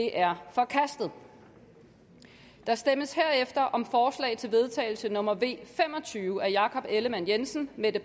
er forkastet der stemmes herefter om forslag til vedtagelse nummer v fem og tyve af jakob ellemann jensen mette